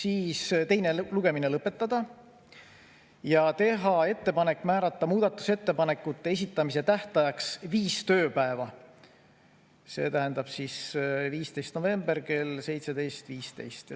Edasi, teine lugemine lõpetada ja teha ettepanek määrata muudatusettepanekute esitamise tähtajaks viis tööpäeva, see tähendab 15. november kell 17.15.